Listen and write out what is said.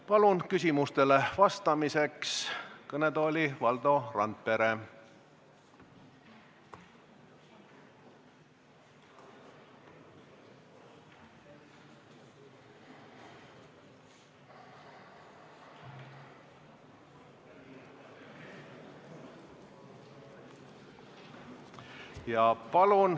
Palun küsimustele vastamiseks kõnetooli Valdo Randpere.